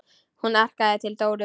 Hún arkaði til Dóru.